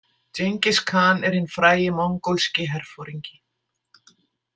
Djengis-khan er hinn frægi mongólski herforingi .